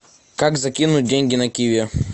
как закинуть деньги на киви